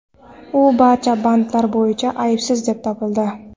U barcha bandlar bo‘yicha aybsiz deb topildi.